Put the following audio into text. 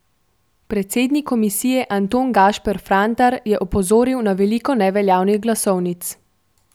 Predsednik komisije Anton Gašper Frantar je opozoril na veliko neveljavnih glasovnic.